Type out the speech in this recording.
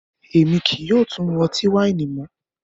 Ẹ̀mi kíí yóò tún mú ọ̀tí-waini mọ